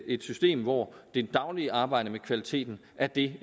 et system hvor det daglige arbejde med kvaliteten er det